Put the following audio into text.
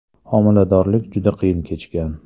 Homiladorlik juda qiyin kechgan.